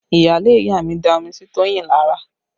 Iyaale ìyá mi da omi sí Toyin lára